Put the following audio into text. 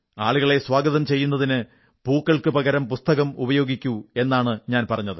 ആളുകളെ സ്വാഗതം ചെയ്യുന്നതിന് പൂക്കൾക്കു പകരം പുസ്തകം ഉപയോഗിക്കൂ എന്നാണ് ഞാൻ പറഞ്ഞത്